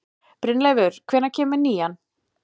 Brynleifur, hvenær kemur nían?